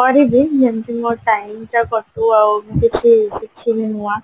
କରିବି କେମତି ମୋ time ଟା କଟିବ ଆଉ ମୁଁ କିଛି ଶିଖିବି ନୂଆ